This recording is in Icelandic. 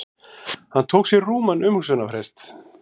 Hann tók sér rúman umhugsunarfrest.